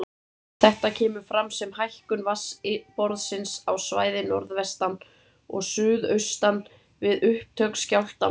Þetta kemur fram sem hækkun vatnsborðsins á svæði norðvestan og suðaustan við upptök skjálftans.